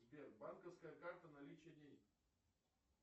сбер банковская карта наличие денег